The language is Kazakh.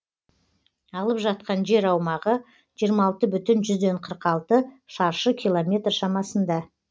алып жатқан жер аумағы жиырма алты бүтін жүзден қырық алты шаршы километр шамасында